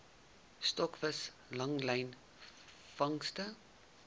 stokvis langlyn vangste